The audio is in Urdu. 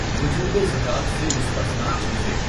وجوبِ زکوٰۃ سے مستثنیٰ چیزیں